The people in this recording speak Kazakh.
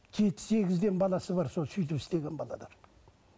жеті сегізден баласы бар сол сөйтіп істеген